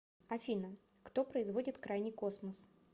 афина кто производит крайний космос